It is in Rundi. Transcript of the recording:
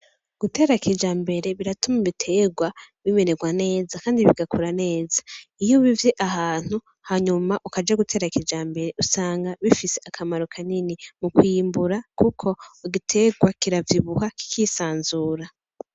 Gutera kijambere biratuma ibiterwa bimererwa neza Kandi bigakura neza, iyo ubivye ahantu hanyuma ukaja gutera kijambere usanga bifise akamaro kanini mukwimbura kuko igiterwa kiravyibuha kikisanzura .